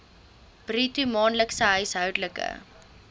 bruto maandelikse huishoudelike